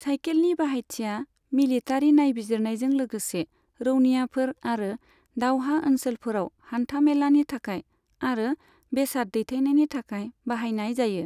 साइखेलनि बाहायथिआ मिलिटारि नायबिजिरनायजों लोगोसे रौनियाफोर आरो दावहा ओनसोलफोराव हान्थामेलानि थाखाय आरो बेसाद दैथायनायनि थाखाय बाहायनाय जायो।